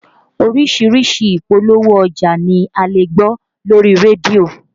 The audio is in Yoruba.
Oríṣiríṣi ìpolówó ọjà ni a lè gbọ́ lórí rédíò